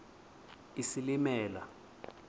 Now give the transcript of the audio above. isilimela